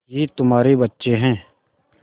ये तुम्हारे बच्चे हैं